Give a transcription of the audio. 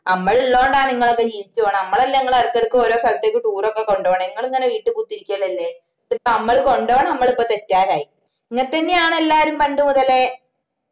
മ്മള് ഇള്ളോണ്ടാണ് ഇങ്ങളൊക്കെ ജീവിച്ചു പൊന്നെ ഞമ്മളല്ലേ ഇങ്ങളെ ഇടക്കിടക്ക് ഓരോ സ്ഥലത്തേക്ക് tour ഒക്കെ കൊണ്ടൊന്നെ ഇങ്ങളിങ്ങനെ വീട്ടി കുത്തിരിക്കലല്ലേ ഇതിപ്പോ മ്മള് കൊണ്ടോണ മ്മള് ഇപ്പൊ തെറ്റുകാരായി ഇങ്ങനത്തെന്നെയാണ് എല്ലാരും പണ്ട് മുതലേ